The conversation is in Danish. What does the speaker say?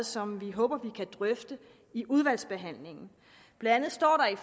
som vi håber vi kan drøfte i udvalgsbehandlingen blandt andet står der i